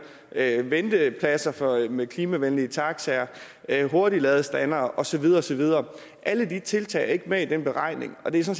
ventepladser med klimavenlige taxaer hurtigladestandere og så videre og så videre alle de tiltag er ikke med i den beregning og det